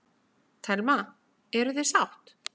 Telma: Eruð þið sátt?